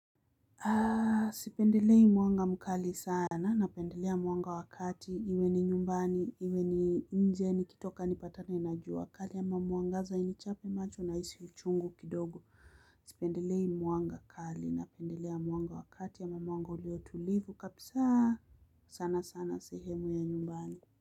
Sipendelei mwanga mkali sana, napendelea mwanga wa kati, iwe ni nyumbani iwe ni nje, nikitoka nikipatana na jua kali linaniangaza linanichapa macho na linaleta uchungu kidogo. Sipendelei mwanga kali, napendelea mwanga wa kati, mwanga uliotulivu kabisa sana sana sehemu ya nyumbani.